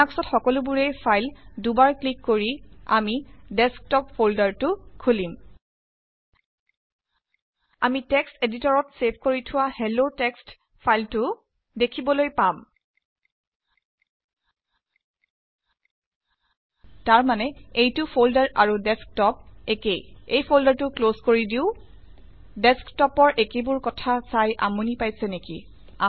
লিন্যাক্সত সকলোবোৰেই ফাইল। দুবাৰ ক্লিক কৰি আমি ডেস্কটপ ফল্দাৰটো খুলিম। আমি টেকস্ট এডিতৰত চেভ কৰি থোৱা হেলেলা টেস্কত ফাইলটো দেখিবলৈপাম। তাৰমানে এইটো ফল্ডাৰ আৰু ডেস্কটপ একেই। এই ফল্ডাৰটো ক্লজ কৰি দিও। ডেস্কটপৰ একেবোৰ কথা ছাই আমনি পাইছে নেকি